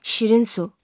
Şirin su.